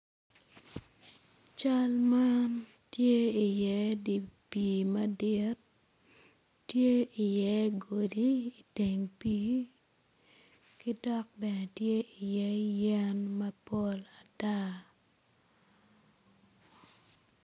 Cal man tye i iye dye pii madit tye i iye godi iteng pii ki dok bene tye i iye yen mapol ata